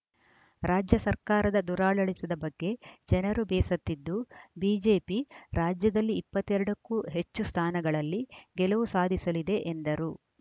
ರಾಜ್ಯ ಸರ್ಕಾರದ ದುರಾಡಳಿತದ ಬಗ್ಗೆ ಜನರು ಬೇಸತ್ತಿದ್ದು ಬಿಜೆಪಿ ರಾಜ್ಯದಲ್ಲಿ ಇಪ್ಪತ್ತ್ ಎರಡ ಕ್ಕೂ ಹೆಚ್ಚು ಸ್ಥಾನಗಳಲ್ಲಿ ಗೆಲುವು ಸಾಧಿಸಲಿದೆ ಎಂದರು